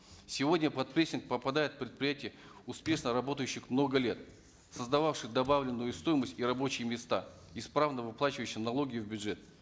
сегодня под прессинг попадают предприятия успешно работающие много лет создававшие добавленную стоимость и рабочие места исправно выплачивающие налоги в бюджет